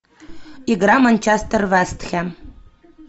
игра манчестер вест хэм